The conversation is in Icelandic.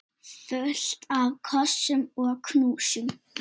Fullt af kossum og knúsum.